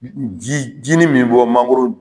Ji jinin min bɛ bɔ mangoro .